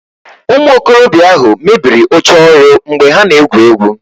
Ụmụ okorobịa ahụ mebiri oche ọrụ mgbe ha na-egwu egwu